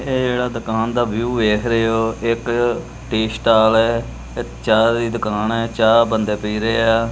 ਇਹ ਜਿਹੜਾ ਦੁਕਾਨ ਦਾ ਵਿਊ ਵੇਖ ਰਹੇ ਹੋ ਇੱਕ ਟੀ ਸਟਾਲ ਹੈ ਇਹ ਚਾਹ ਦੀ ਦੁਕਾਨ ਹੈ ਚਾਹ ਬੰਦੇ ਪੀ ਰਹੇ ਹਾਂ।